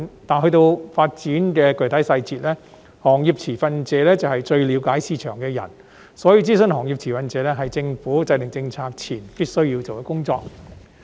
至於發展的具體細節，由於行業持份者是最了解市場的人，所以諮詢行業持份者是政府制訂政策前必須做的工作。